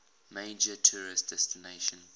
major tourist destination